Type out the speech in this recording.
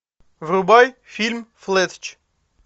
врубай фильм флетч